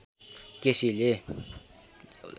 केसीले